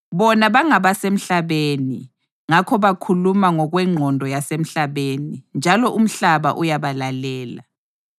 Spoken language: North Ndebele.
Bona bangabasemhlabeni, ngakho bakhuluma ngokwengqondo yasemhlabeni njalo umhlaba uyabalalela.